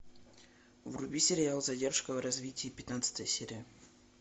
вруби сериал задержка в развитии пятнадцатая серия